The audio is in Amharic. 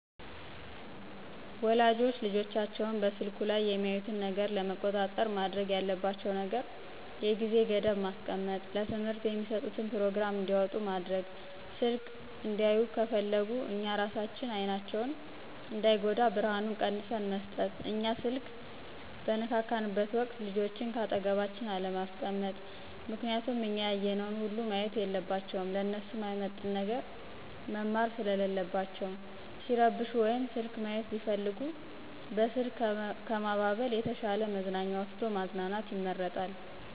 ወላጆች ልጆቻቸው በስልኩ ላይ የሚያዩትን ነገር ለመቆጣጠር ማድረግ ያለባቸው ነገር የጊዜ ገደብ ማስቀመጥ፣ ለትምህርት የሚስጡትን ፕሮግራም እንዲያወጡ ማድረግ፣ ስልክ እንዲያዩ ከፍለግነ እኛ እራሳችን አይናቸው እንዳይጎዳ ብርሀኑን ቀንስን መስጠት፣ እኛ ስልክ በንነካካበት ወቅት ልጆችን ከአጠገባችን አለማስቀመጥ ምክንያቱም እኛ ያየነውን ሁሉ ማየት የለባቸውም ለነሱ ማይመጥን ነገር መማር ሰለለባቸው፣ ሲረብሹ ወይም ስልክ ማይት ቢፈልጉ በስልክ ከማባበል የተሻ መዝናኛ ወስዶ ማዝናናት ይመረጣል።